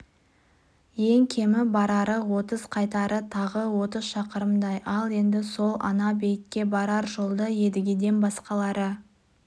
ең кемі барары отыз қайтары тағы отыз шақырымдай ал енді сол ана-бейітке барар жолды едігеден басқалары